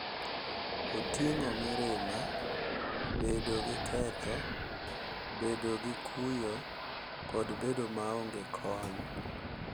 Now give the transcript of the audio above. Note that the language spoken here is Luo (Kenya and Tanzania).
Oting’o mirima, bedo gi ketho, bedo gi kuyo, kod bedo maonge kony.